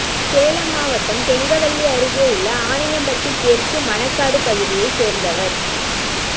சேலம் மாவட்டம் கெங்கவல்லி அருகே உள்ள ஆணையம்பட்டி தெற்கு மணக்காடு பகுதியை சேர்ந்தவர்